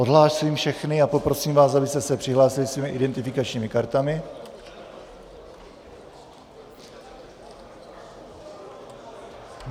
Odhlásím všechny a poprosím vás, abyste se přihlásili svými identifikačními kartami.